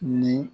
Ni